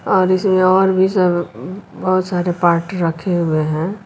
आज इसमें और भी सब बहुत सारे पार्ट रखे हुए हैं।